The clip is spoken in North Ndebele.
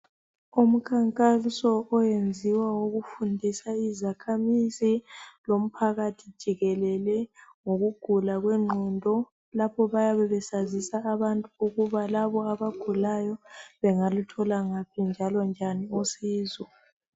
Umkhankaso oyenziwa ukufundisa izakhamizi lomphakathi jikelele ngokugula kwengqondo. Lapho bayabe besazisa abantu ukuba labo abagulayo bengaluthola ngaphi njalo njani usizo.